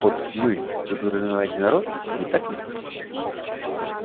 под мы вы подразумеваете народ не так ли